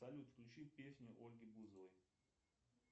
салют включи песню ольги бузовой